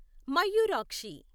Mayurakshi